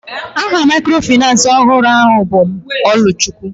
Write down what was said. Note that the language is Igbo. Aha microfinace ọhụrụ ahụ bụ Oluchukwu.